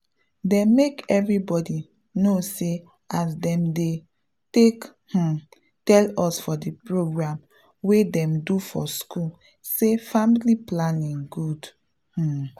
dem make everybody knw say as dem take um tell us for de program wey dem do for school say family planning good. um